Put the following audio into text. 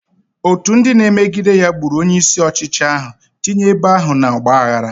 Otu ndị na-emegide ya gburu onye isi ọchịchị ahụ, tinye ebo ahụ n'ọgba aghara.